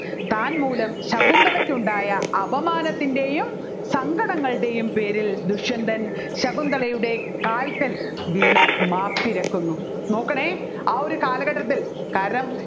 താൻ മൂലം ശകുന്തളയ്ക്കുണ്ടായ അപമാനത്തിൻെറയും സങ്കടങ്ങളുടെയും പേരിൽ ദുഷ്യന്തൻ ശകുന്തളയുടെ കാൽക്കൽ വീണു മാപ്പിരക്കുന്നു നോക്കണേ ആ ഒരു കാലഘട്ടത്തിൽ കാരണം